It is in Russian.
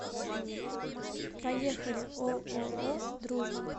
поехали ооо дружба